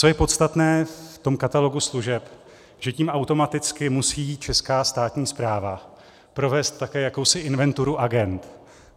Co je podstatné v tom katalogu služeb, že tím automaticky musí česká státní správa provést také jakousi inventuru agend.